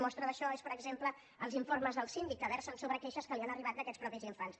mostra d’això són per exemple els informes del síndic que versen sobre queixes que li han arribat d’aquests mateixos infants